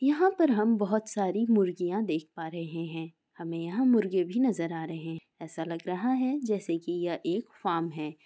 यहाँ पर हम बहुत सारी मुर्गियाँ देख पा रहे है हमे यहाँ मुर्गे भी नजर आ रहे है ऐसा लग रहा है जैसे की यह एक फार्म है।